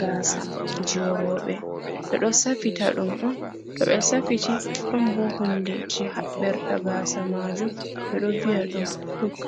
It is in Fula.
gasa je roɓɓe, ɓe ɗo safita ɗum on to ɓe safiti ɗon bo hunde je haɓɓirta gasa majum ɓe do viya ɗum huk.